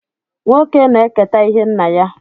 Nwoke na-eketa ihe nna ya.